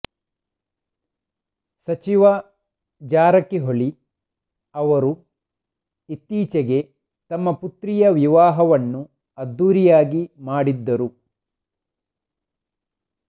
ಸಚಿವ ಜಾರಕಿಹೊಳಿ ಅವರು ಇತ್ತೀಚೆಗೆ ತಮ್ಮ ಪುತ್ರಿಯ ವಿವಾಹವನ್ನು ಅದ್ದೂರಿಯಾಗಿ ಮಾಡಿದ್ದರು